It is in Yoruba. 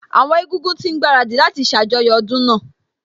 Àwọn Egúngún ti ń gbaradì láti ṣàjọyọ̀ ọdún náà